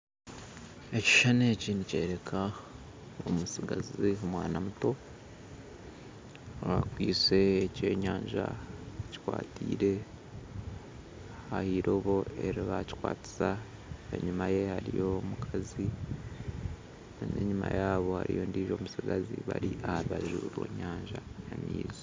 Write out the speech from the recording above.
Ekishushani eki nikyoreka omutsigazi omwana muto akwaitse ekyenyanja akikwatiire ah'eirobo eribakikwatisa enyuma ye hariyo omukazi n'enyuma yaabo hariyo ondiijo mutsigazi bari aha rubaju rwenyanja y'amaizi